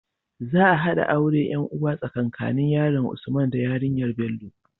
Za a haɗa auren yan uwa tsaka nanin yaron usman da yarinyar Bello